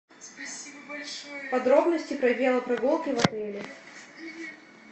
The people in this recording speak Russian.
подробности про велопрогулки в отеле